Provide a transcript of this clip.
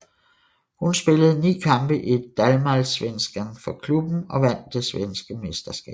Hun spillede ni kampe i Damallsvenskan for klubben og vandt det svenske mesterskab